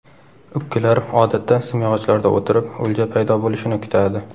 Ukkilar odatda simyog‘ochlarda o‘tirib, o‘lja paydo bo‘lishini kutadi.